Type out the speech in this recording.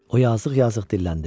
O yazıq-yazıq dilləndi.